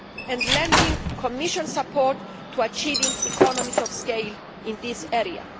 and lending Commission support to achieving economies of scale in this area.